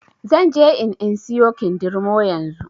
Zanje in in siyo kindirmo yanzu.